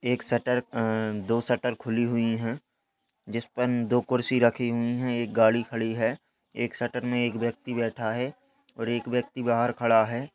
एक शटर अ दो शटर खुली हुई हैं जिसपर दो कुर्सी रखी हुई हैं एक गाड़ी खड़ी है एक शटर में एक व्यक्ति बैठा है और एक व्यक्ति बाहर खड़ा है।